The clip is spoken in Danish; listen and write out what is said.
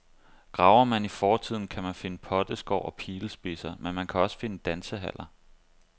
Graver man i fortiden, kan man finde potteskår og pilespidser, men man kan også finde dansehaller.